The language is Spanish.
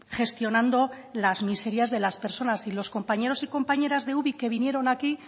gestionando las miserias de las personas los compañeros y compañeras de ubik que vinieron aquí